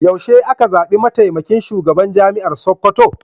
Yaushe aka zaɓi mataimakin shugaban Jami'ar Sakkwato?